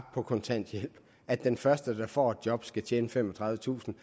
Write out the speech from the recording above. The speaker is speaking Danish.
på kontanthjælp at den første der får et job skal tjene femogtredivetusind